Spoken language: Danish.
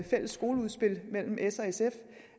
fælles skoleudspil